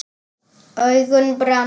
Augun brenna.